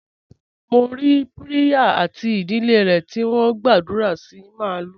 Mo rí Priya àti ìdílé rẹ̀ tí wọ́n ń gbàdúrà sí màlúù.